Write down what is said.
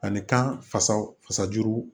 Ani kan fasa fasa juru